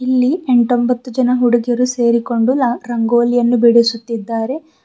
ಇಲ್ಲಿ ಎಂಟೊಂಭತ್ತು ಜನ ಹುಡುಗಿಯರು ಸೇರಿಕೊಂಡು ರ ರಂಗೋಲಿಯನ್ನು ಬಿಡಿಸುತ್ತಿದ್ದಾರೆ.